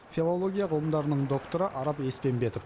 филология ғылымдарының докторы арап еспенбетов